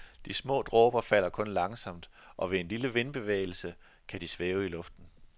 De små dråber falder kun langsomt, og ved en lille vindbevægelse kan de svæve i luften.